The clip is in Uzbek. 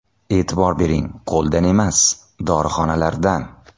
E’tibor bering qo‘ldan emas, dorixonalardan.